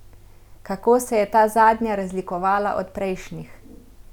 Kako se je ta zadnja razlikovala od prejšnjih?